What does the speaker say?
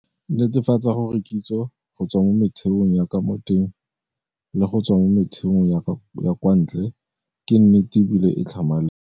Netefatsa gore kitso, go tswa mo metheong ya ka mo teng le go tswa mo metheong ya kwa ntle, ke nnete e bile e tlhamaletse.